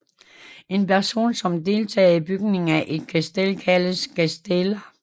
En person som deltager i bygingen af et castell kaldes casteller